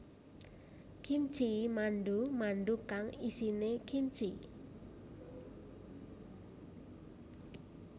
Gimchi mandu mandu kang isine kimchi